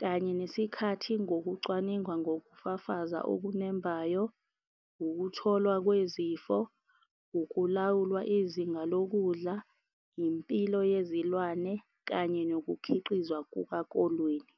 Kanye nesikhathi ngokucwaninga, ngokufa faza okunembayo, ukutholwa kwezifo, ukulawulwa izinga lokudla, impilo yezilwane kanye nokukhiqizwa kukakolweni.